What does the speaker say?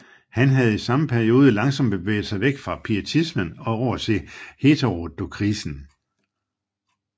Han havde i samme periode langsomt bevæget sig væk fra pietismen og over til heterodokisen